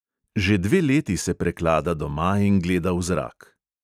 Že dve leti se preklada doma in gleda v zrak.